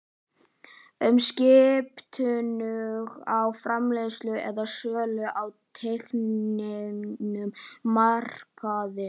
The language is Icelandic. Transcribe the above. um skiptingu á framleiðslu eða sölu á tilteknum markaði.